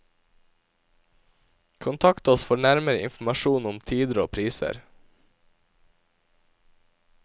Kontakt oss for nærmere informasjon om tider og priser.